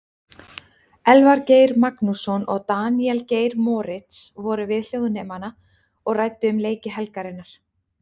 Elvar Geir Magnússon og Daníel Geir Moritz voru við hljóðnemana og ræddu um leiki helgarinnar.